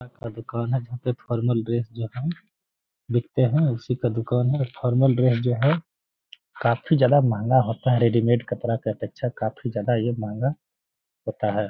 का दुकान है जहाँ पे फॉर्मल ड्रेस जो है बिकते हैं। उसी का दुकान है और फॉर्मल ड्रेस जो है काफ़ी ज्यादा महँगा होता है रेडीमेड कपड़ा के अपेक्षा काफ़ी ज्यादा ये महँगा होता है।